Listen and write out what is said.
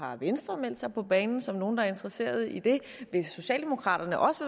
har venstre meldt sig på banen som nogle der er interesserede i det hvis socialdemokraterne også